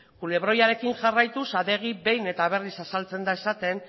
kulebroiarekin jarraituz adegik behin eta berriz azaltzen da esaten